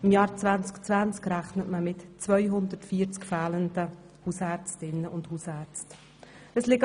Im Jahr 2020 rechnet man mit 240 fehlenden Hausärztinnen und Hausärzten.